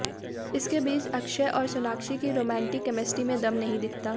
इसके बीच अक्षय और सोनाक्षी की रोमांटिक केमिस्ट्री में दम नहीं दिखता